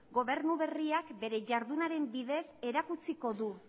gobernu berriak bere ihardunaren bidez erakutsiko du